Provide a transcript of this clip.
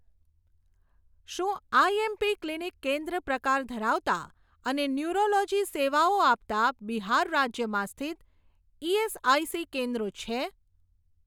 શું IMP clinic કેન્દ્ર પ્રકાર ધરાવતાં અને ન્યૂરોલોજી સેવાઓ આપતાં બિહાર રાજ્યમાં સ્થિત ઇએસઆઇસી કેન્દ્રો છે?